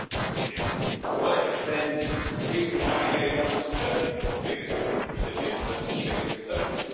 If it worked, then Greece would now be bailing out Germany, as the biggest recipient versus the biggest donor.